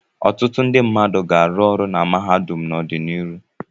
Ọtụtụ ndị mmadụ ga-arụ ọrụ na mahadum n'ọdịnihu.